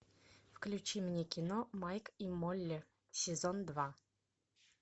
включи мне кино майк и молли сезон два